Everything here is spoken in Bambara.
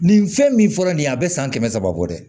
Nin fɛn min fɔra nin ye a bɛ san kɛmɛ saba bɔ dɛ